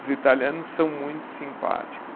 Os italianos são muito simpáticos.